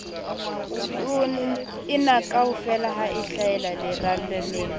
enakaofela ha a hlahela lerallaneng